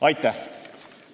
Aitäh!